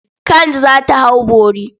Kand za ta hau bori.